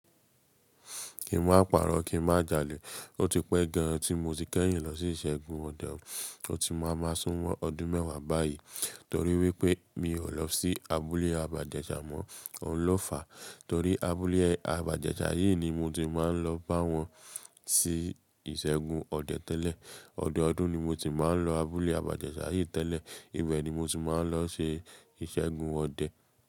Kí ma parọ́, kí ma jalè. Ó ti pẹ́ gan tí mo ti kẹ́yìn lọ sí iṣẹgun ọdẹ. Ó ti ma ma súnmọ́ ọdún mẹ́wà báyì, torí wípé mi ò lọ sí abúlé baba ijeṣa mọ́, òun ló fà. Torí abúlé aba ijẹṣa yìí ni mo ti ń ma lọ bá wọn ṣe iṣẹgun ọdẹ tẹ́lẹ̀. Ọdún ọdún ni mo sì ma ń lọ abúlé aba jẹṣa yìí tẹ́lẹ̀. Ibẹ̀ ni mo ti máa ń lọ ṣe iṣẹgun ọdẹ.